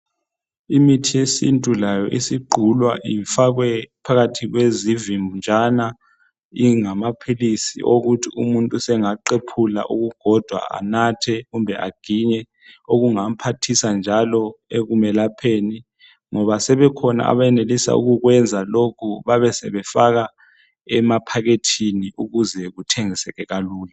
Imithi yesintu layo isigqulwa ifakwe phakathi kwezivinjana ingamaphilisi okuthi umuntu sengaqephula okukodwa anathe kumbe aginye okungamphathisa njalo ekumelapheni ngoba sebekhona abayenelisa ukukwenza lokhu babesebefaka emaphakethini ukuze kuthengiseke kalula.